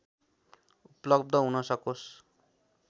उपलब्ध हुन सकोस्